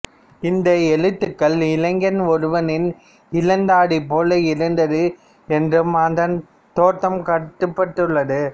இந்த எழுத்துக்கள் இளைஞன் ஒருவனின் இளந்தாடி போல் இருந்தது என்றும் அதன் தோற்றம் காட்டப்பட்டுள்ளது